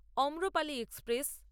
Amrapali express